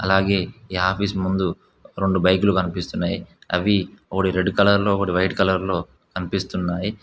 అలాగే ఈ ఆఫీస్ ముందు రొండు బైకులు కనిపిస్తున్నాయి అవి ఒకటి రెడ్ కలర్ లో ఒకటి వైట్ కలర్ లో కనిపిస్తున్నాయి.